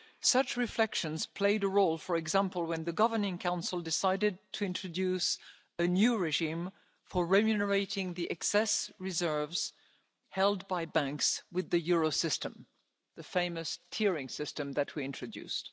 Such reflections played a role, for example, when the Governing Council decided to introduce a new regime for remunerating the excess reserves held by banks with the Eurosystem, the famous clearing system that we introduced.